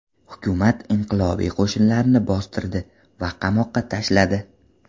Hukumat inqilobiy qo‘shinlarni bostirdi va qamoqqa tashladi.